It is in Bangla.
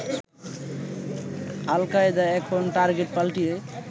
আল কায়দা এখন টার্গেট পাল্টিয়ে